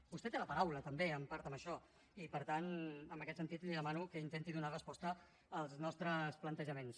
vostè té la paraula també en part en això i per tant en aquest sentit li demano que intenti donar resposta als nostres plantejaments